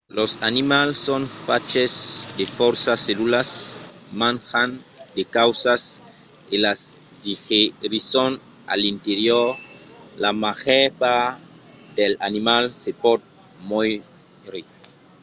los animals son faches de fòrça cellulas. manjan de causas e las digerisson a l'interior. la màger part dels animals se pòt mòure